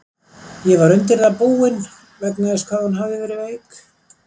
Ég var undir það búinn, vegna þess hvað hún hafði verið veik.